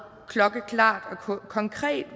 tre og